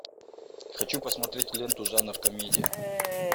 хочу посмотреть ленту жанр комедия